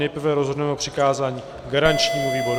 Nejprve rozhodneme o přikázání garančnímu výboru.